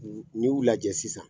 N'i y'u lajɛ sisan.